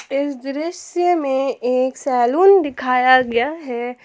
इस दृश्य में एक सैलून दिखाया गया है।